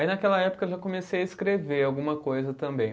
Aí naquela época eu já comecei a escrever alguma coisa também.